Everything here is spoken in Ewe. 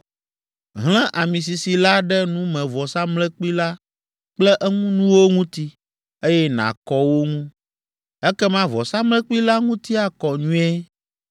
Hlẽ ami sisi la ɖe numevɔsamlekpui la kple eŋunuwo ŋuti, eye nàkɔ wo ŋu; ekema vɔsamlekpui la ŋuti akɔ nyuie.